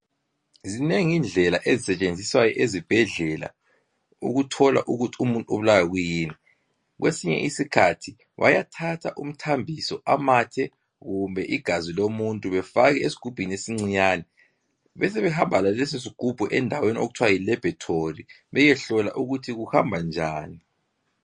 Zinengi indlela ezisetshenziswayo ezibhedlela ukuthola ukuthi umuntu ubulawa yikuyini . Kwesinye isikhathi bayathatha umthambiso ,amathe kumbe igazi lomuntu befake esigubhini esincinyane . Besebehamba laleso sigubhu endaweni okuthiwa yi laboratory beyehlola ukuthi kuhamba njani .